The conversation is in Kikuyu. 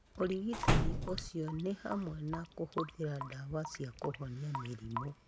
Ũrigitani ũcio nĩ hamwe na kũhũthĩra ndawa cia kũhonia mĩrimũ.